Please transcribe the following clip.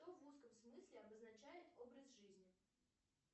что в узком смысле обозначает образ жизни